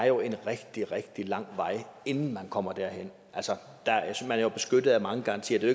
jo en rigtig rigtig lang vej inden man kommer derhen man er jo beskyttet af mange garantier det